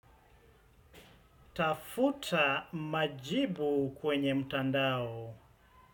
Tafuta majibu kwenye mtandao.